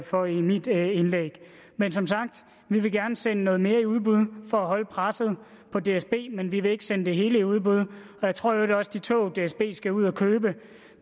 for i mit indlæg men som sagt vil vi gerne sende noget mere i udbud for at holde presset på dsb men vi vil ikke sende det hele i udbud jeg tror i øvrigt også at de tog dsb skal ud at købe